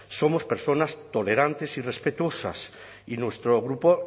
somos personas tolerantes y respetuosas y nuestro grupo